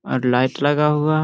और लाइट लगा हुवा --